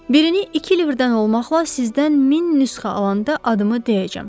Birini iki libdən olmaqla sizdən 1000 nüsxə alanda adımı deyəcəm.